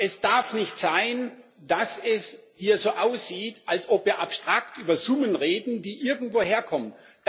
Es darf nicht sein, dass es hier so aussieht, als ob wir abstrakt über Summen reden, die irgendwo herkommen!